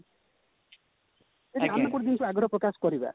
ଯଦି ଆମେ ଗୋଟେ ଜିନିଷ ଆଗ୍ରହ ପ୍ରକାଶ କରିବା